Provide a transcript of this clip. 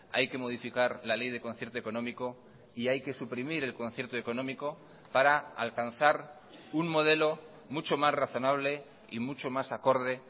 hay que modificar la ley de concierto económico y hay que suprimir el concierto económico para alcanzar un modelo mucho más razonable y mucho más acorde